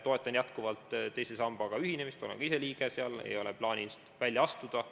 Toetan jätkuvalt teise sambaga ühinemist, olen ka ise sellega ühinenud, ei ole plaanis välja astuda.